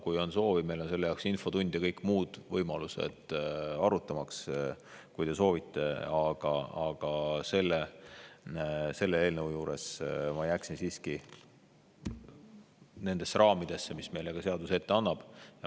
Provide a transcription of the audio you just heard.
Kui on soovi, meil on selle jaoks infotund ja kõik muud võimalused, arutamaks, kui te soovite, aga selle eelnõu puhul ma jääksin siiski nendesse raamidesse, mis meile seadus ette annab.